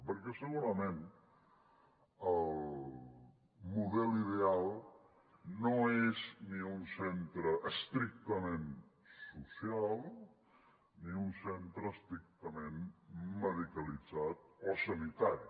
perquè segurament el model ideal no és ni un centre estrictament social ni un centre estrictament medicalitzat o sanitari